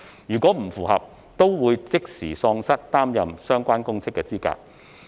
如有不符，該人亦會即時喪失擔任相關公職的資格。